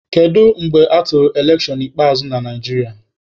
Kedu mgbe atụrụ elekshọn ikpeazụ na Naijiria?